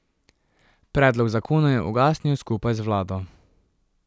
Predlog zakona je ugasnil skupaj z vlado.